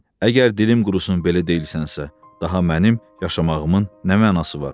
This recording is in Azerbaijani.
Əgər dilim qurusun belə deyilsənsə, daha mənim yaşamağımın nə mənası var?